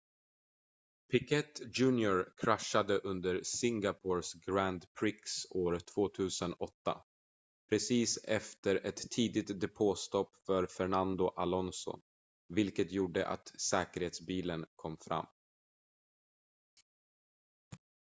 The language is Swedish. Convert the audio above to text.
piquet jr kraschade under singapores grand prix år 2008 precis efter ett tidigt depåstopp för fernando alonso vilket gjorde att säkerhetsbilen kom fram